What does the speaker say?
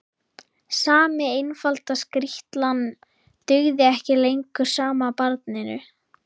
Sami einfalda skrýtlan dugði ekki lengur sama barninu.